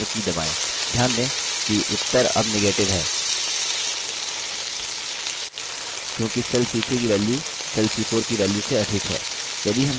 ध्यान दें कि उत्तर अब negative है क्योंकि cell c3 की value cell c4 की वैल्य से अधिक है